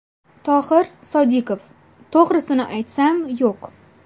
Tohir Sodiqov: To‘g‘risini aytsam, yo‘q.